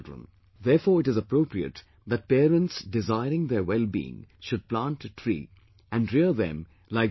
Therefore it is appropriate that parents desiring their wellbeing should plant tree and rear them like their own children